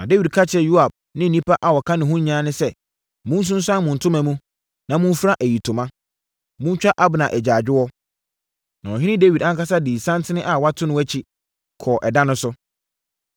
Na Dawid ka kyerɛɛ Yoab ne nnipa a wɔka ne ho no nyinaa sɛ, “Monsunsuane mo ntoma mu, na momfira ayitoma. Montwa Abner agyaadwoɔ.” Na ɔhene Dawid ankasa dii santen a wɔato no akyi, kɔɔ ɛda no so.